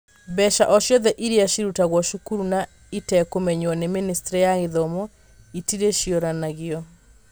Mbeca o ciothe iria ciarutagwo cukuru na itekũmenywo nĩ Ministry ya Gĩthomo itirĩcũranagio.